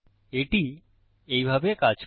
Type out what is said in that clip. এটি এইভাবে কাজ করে